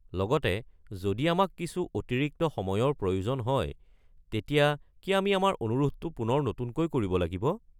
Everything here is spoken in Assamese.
লগতে, যদি আমাক কিছু অতিৰিক্ত সময়ৰ প্ৰয়োজন হয়, তেতিয়া কি আমি আমাৰ অনুৰোধটো পুনৰ নতুনকৈ কৰিব লাগিব?